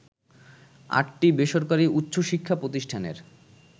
আটটি বেসরকারি উচ্চশিক্ষা প্রতিষ্ঠানের